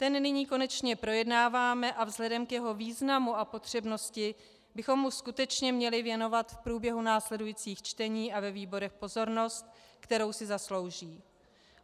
Ten nyní konečně projednáváme a vzhledem k jeho významu a potřebnosti bychom mu skutečně měli věnovat v průběhu následujících čtení a ve výborech pozornost, kterou si zaslouží.